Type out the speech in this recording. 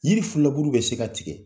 Yiri filaburu bɛ se ka tigɛ